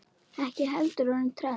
Ekki heldur orðið trend.